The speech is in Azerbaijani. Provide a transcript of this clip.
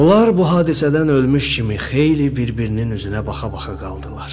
Onlar bu hadisədən ölmüş kimi xeyli bir-birinin üzünə baxa-baxa qaldılar.